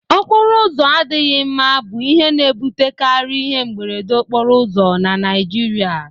Okporo ụzọ adịghị mma bụ ihe na-ebutekari ihe mberede okporo ụzọ na Naịjirịa